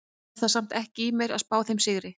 Hef það samt ekki í mér að spá þeim sigri.